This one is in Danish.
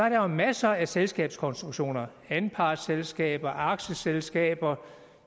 jo masser af selskabskonstruktioner anpartsselskaber aktieselskaber